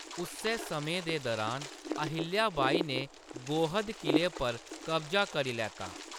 उस्सै समें दे दुरान, अहिल्या बाई ने गोहद क़िले पर कब्जा करी लैता।